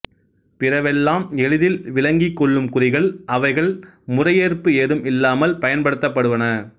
பிறவெல்லாம் எளிதில் விளங்கிக்கொள்ளும் குறிகள் அவைகள் முறையேற்பு ஏதும் இல்லாமல் பயன்படுத்தப்படுவன